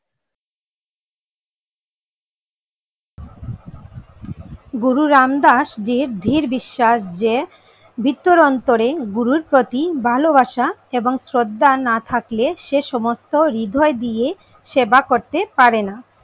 গুরু রামদাস জীর ধীর বিশ্বাস যে ভিতর অন্তরে গুরুর প্রতি ভালোবাসা এবং শ্রদ্ধা না থাকলে সে সমস্ত হৃদয় দিয়ে সেবা করতে পারে না